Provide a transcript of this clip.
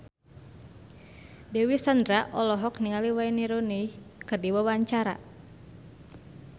Dewi Sandra olohok ningali Wayne Rooney keur diwawancara